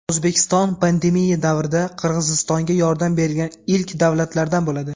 O‘zbekiston – pandemiya davrida Qirg‘izistonga yordam bergan ilk davlatlardan bo‘ladi.